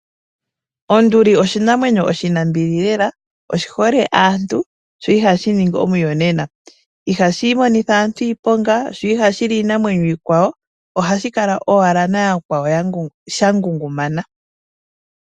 Onduli oshinamwenyo oshinambili lela, oshihole aantu sho ihashi ningi omuyonna ihashimonitha aantu iiponga sho ihashi li iinamwenyo iikwawo ohashinkala owala nayakwawo shangungumana.